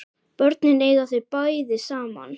Börnin eiga þau bæði saman